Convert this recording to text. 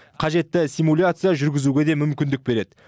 қажетті симуляция жүргізуге де мүмкіндік береді